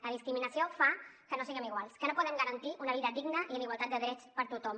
la discriminació fa que no siguem iguals que no puguem garantir una vida digna i amb igualtat de drets per a tothom